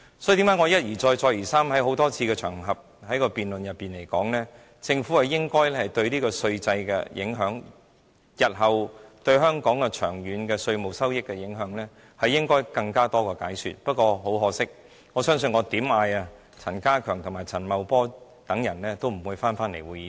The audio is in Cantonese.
所以，為何我一而再，再而三地在多個辯論場合中指出，政府應該對稅制的影響，對香港日後的稅務收益的長遠影響作更多的解說，不過，很可惜，不管我如何呼喊，陳家強、陳茂波等官員也不會返回會議廳。